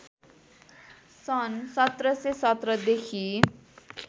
सन् १७१७ देखि